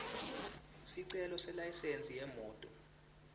sicelo selayisensi yemoti